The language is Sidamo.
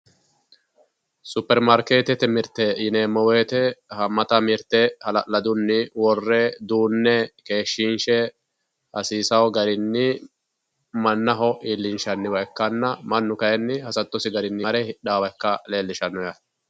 Superimaarkeetete mirteeti yineemmo woyiite haammata mirte hala'ladunni worre duunne keeshshiinshe hasiisawo garinni mannaho iillinshanniwa ikkanna mannu kaayiinni hasattosi garinni mare hidhaawa ikkasi leellishanno.